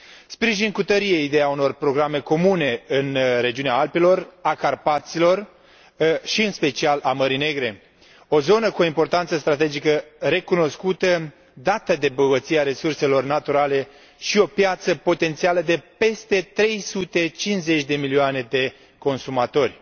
Sprijin cu tărie ideea unor programe comune în regiunea Alpilor, a Carpaților și, în special, a Mării Negre, o zonă cu importanță strategică recunoscută, dată de bogăția resurselor naturale și o piață potențială de peste 350 de milioane de consumatori.